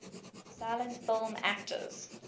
silent film actors